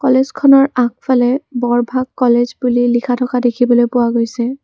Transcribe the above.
কলেজখনৰ আগফালে বৰভাগ কলেজ বুলি লিখা থকা দেখিবলৈ পোৱা গৈছে।